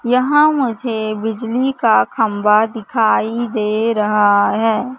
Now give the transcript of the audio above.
यहां मुझे बिजली का खंभा दिखाई दे रहा है।